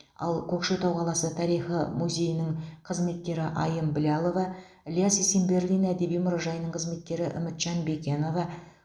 ал көкшетау қаласы тарихы музейінің қызметкері айым біләлова іляс есенберлин әдеби мұражайының қызметкері үмітжан бекенова